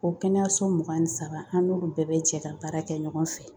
O kɛnɛyaso mugan ni saba an n'olu bɛɛ bɛ jɛ ka baara kɛ ɲɔgɔn fɛ .